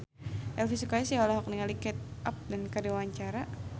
Elvy Sukaesih olohok ningali Kate Upton keur diwawancara